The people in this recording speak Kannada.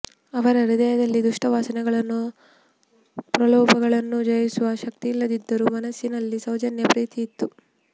ಅವರ ಹೃದಯದಲ್ಲಿ ದುಷ್ಟ ವಾಸನೆಗಳನ್ನೂ ಪ್ರಲೋಭಗಳನ್ನೂ ಜಯಿಸುವ ಶಕ್ತಿಯಿಲ್ಲದಿದ್ದರೂ ಮನಸ್ಸಿನಲ್ಲಿ ಸೌಜನ್ಯ ಪ್ರಿಯತೆಯಿತ್ತು